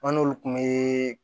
An n'olu kun be